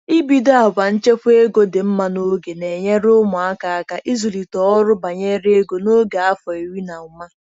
Ịbido àgwà nchekwa ego dị mma n'oge na-enyere ụmụaka aka ịzụlite ọrụ banyere ego n'oge afọ iri na ụma.